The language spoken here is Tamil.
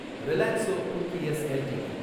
Relaxo footwears LTD